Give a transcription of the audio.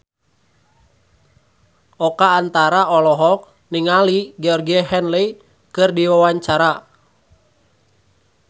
Oka Antara olohok ningali Georgie Henley keur diwawancara